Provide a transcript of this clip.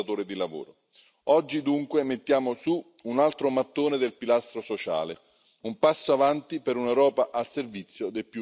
Oggi dunque mettiamo su un altro mattone del pilastro sociale, un passo in avanti per un'Europa al servizio dei più vulnerabili.